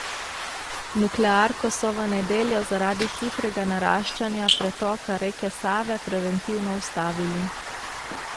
Nuklearko so v nedeljo zaradi hitrega naraščanja pretoka reke Save preventivno ustavili.